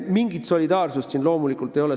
Mingit solidaarsust siin loomulikult ei ole.